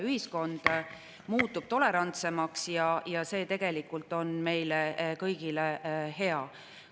Ühiskond muutub tolerantsemaks ja see on tegelikult meile kõigile hea.